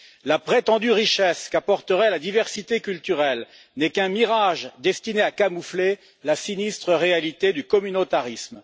La prétendue richesse qu'apporterait la diversité culturelle n'est qu'un mirage destiné à camoufler la sinistre réalité du communautarisme.